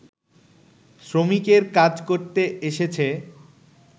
শ্রমিকের কাজ করতে এসেছে